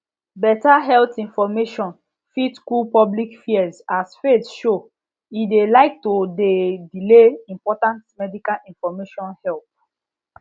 better health information fit cool public fears as faith show e de like to de delay important medical information help